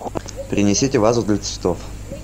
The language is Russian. принесите вазу для цветов